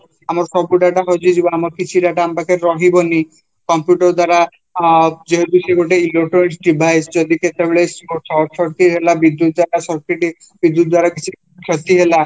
ଆମର ସବୁ data ହଜିଯିବା ଆମର କିଛି ଡାଟା ଅମପାଖରେ ରହିବନି computer ଦ୍ଵାରା ଅଂ ଯେହେତୁ ଗୋଟେ electronic devise ଯଦି କେତେବେଳେ short circuit ବିଦ୍ୟୁତ ଯାହା circuit ହେଇଛି ବିଦୂତ ଦ୍ଵାରା କିଛି କ୍ଷତି ହେଲା